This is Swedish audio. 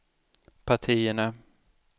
partierna